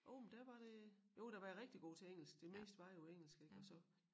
Jo men der var det jo der var jeg rigtig god til engelsk det meste var jo engelsk ik og så